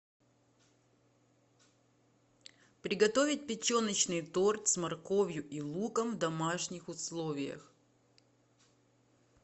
приготовить печеночный торт с морковью и луком в домашних условиях